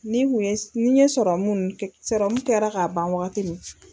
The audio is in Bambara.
Ni n kun ye ni ye sɔrɔmu nu kɛ sɔrɔmu kɛra ka ban wagati min